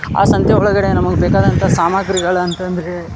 ಆ ಸಂತೆ ಒಳಗಡೆ ನಮಗೆ ಬೇಕಾದಂತಹ ಸಾಮಾಗ್ರಿಗಳ ಅಂತ ಅಂದ್ರೆ --